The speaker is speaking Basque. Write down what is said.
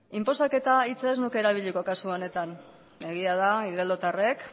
inposaketa hitza ez nuke erabiliko kasu honetan egia da igeldotarrek